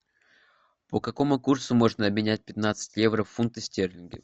по какому курсу можно обменять пятнадцать евро в фунты стерлинги